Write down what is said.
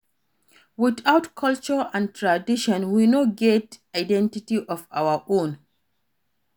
Without culture and tradition we no go get identity of our own